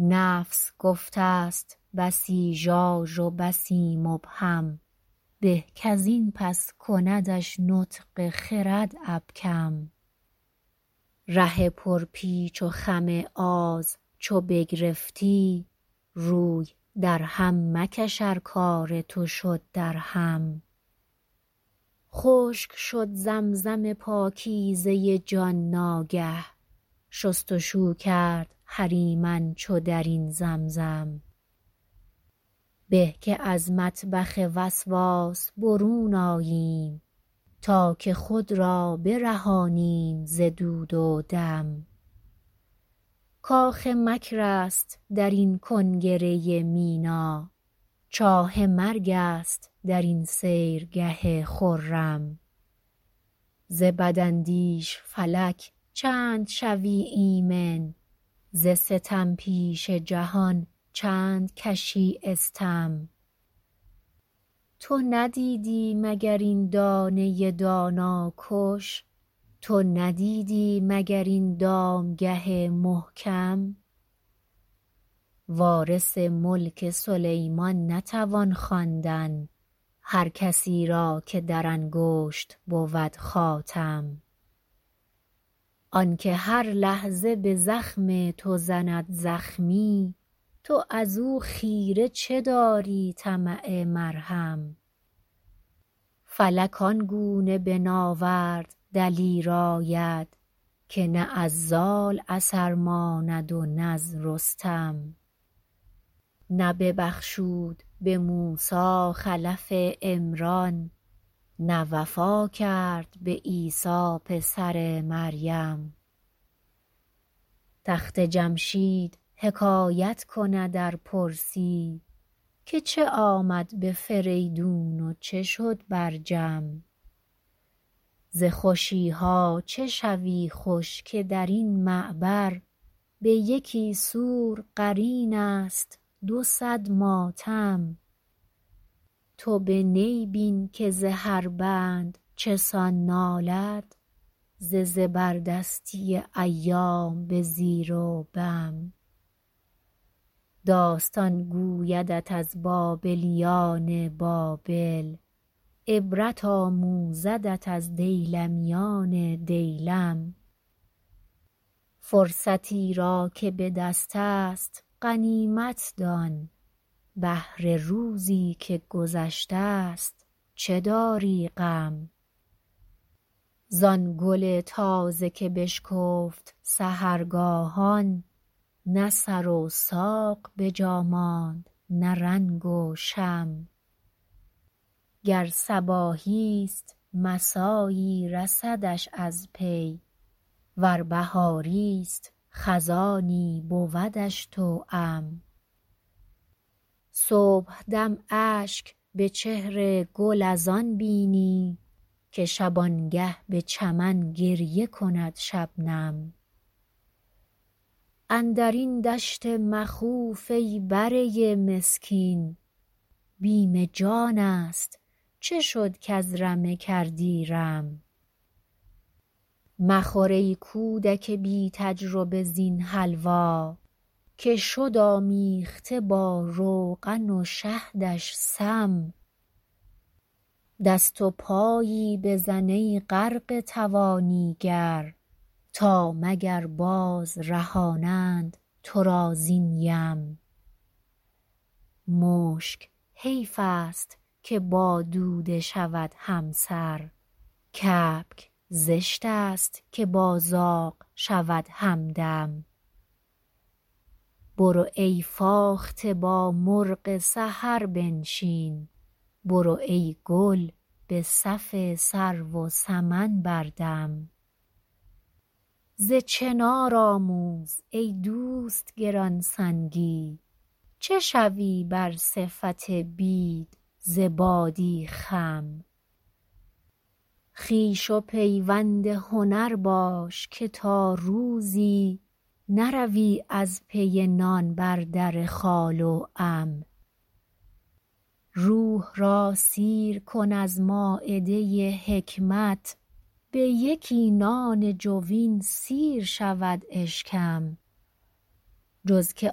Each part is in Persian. نفس گفته ست بسی ژاژ و بسی مبهم به کز این پس کندش نطق خرد ابکم ره پر پیچ و خم آز چو بگرفتی روی درهم مکش ار کار تو شد درهم خشک شد زمزم پاکیزه جان ناگه شستشو کرد هریمن چو درین زمزم به که از مطبخ وسواس برون آییم تا که خود را برهانیم ز دود و دم کاخ مکر است درین کنگره مینا چاه مرگ است درین سیرگه خرم ز بداندیش فلک چند شوی ایمن ز ستم پیشه جهان چند کشی استم تو ندیدی مگر این دانه دانا کش تو ندیدی مگر این دامگه محکم وارث ملک سلیمان نتوان خواندن هر کسیرا که در انگشت بود خاتم آنکه هر لحظه بزخم تو زند زخمی تو ازو خیره چه داری طمع مرهم فلک آنگونه به ناورد دلیر آید که نه از زال اثر ماند و نز رستم نه ببخشود بموسی خلف عمران نه وفا کرد به عیسی پسر مریم تخت جمشید حکایت کند ار پرسی که چه آمد به فریدون و چه شد بر جم ز خوشیها چه شوی خوش که درین معبر به یکی سور قرین است دو صد ماتم تو به نی بین که ز هر بند چسان نالد ز زبردستی ایام به زیر و بم داستان گویدت از بابلیان بابل عبرت آموزدت از دیلمیان دیلم فرصتی را که بدستست غنیمت دان بهر روزی که گذشتست چه داری غم زان گل تازه که بشکفت سحرگاهان نه سر و ساق بجا ماند نه رنگ و شم گر صباحیست مسایی رسدش از پی ور بهاریست خزانی بودش توام صبحدم اشک به چهر گل از آن بینی که شبانگه به چمن گریه کند شبنم اندرین دشت مخوف ای بره مسکین بیم جانست چه شد کز رمه کردی رم مخور ای کودک بی تجربه زین حلوا که شد آمیخته با روغن و شهدش سم دست و پایی بزن ای غرقه توانی گر تا مگر باز رهانند تو را زین یم مشک حیفست که با دوده شود همسر کبک زشتست که با زاغ شود همدم برو ای فاخته با مرغ سحر بنشین برو ای گل بصف سرو و سمن بردم ز چنار آموز ای دوست گرانسنگی چه شوی بر صفت بید ز بادی خم خویش و پیوند هنر باش که تا روزی نروی از پی نان بر در خال و عم روح را سیر کن از مایده حکمت بیکی نان جوین سیر شود اشکم جز که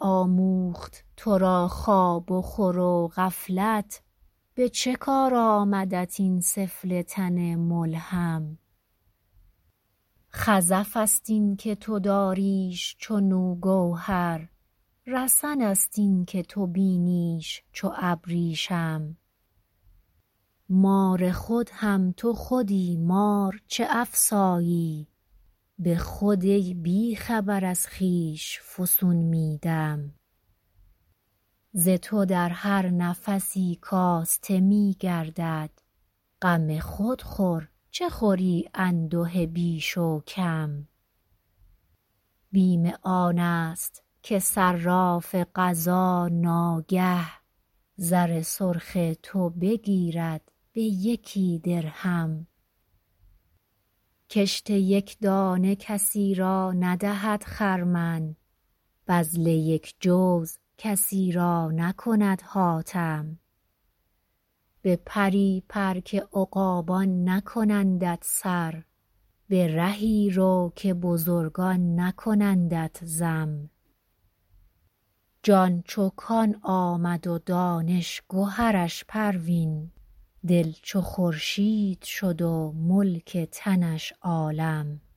آموخت ترا که خواب و خور غفلت به چه کار آمدت این سفله تن ملحم خزفست اینکه تو داریش چنو گوهر رسن است اینکه تو بینیش چو ابریشم مار خود هم تو خودی مار چه افسایی بخود ای بیخبر از خویش فسون میدم ز تو در هر نفسی کاسته میگردد غم خود خور چه خوری انده بیش و کم بیم آنست که صراف قضا ناگه زر سرخ تو بگیرد به یکی درهم کشت یک دانه کسی را ندهد خرمن بذل یک جوز کسی را نکند حاتم به پری پر که عقابان نکنندت سر به رهی رو که بزرگان نکنندت ذم جان چو کان آمد و دانش گهرش پروین دل چو خورشید شد و ملک تنش عالم